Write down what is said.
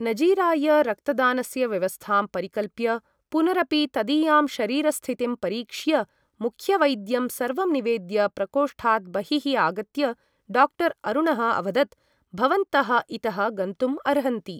नजीराय रक्तदानस्य व्यवस्थां परिकल्प्य पुनरपि तदीयां शरीरस्थितिं परीक्ष्य मुख्यवैद्यं सर्वं निवेद्य प्रकोष्ठात् बहिः आगत्य डाक्टर् अरुणः अवदत् भवन्तः इतः गन्तुम् अर्हन्ति ।